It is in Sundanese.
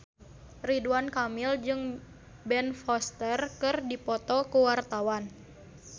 Ridwan Kamil jeung Ben Foster keur dipoto ku wartawan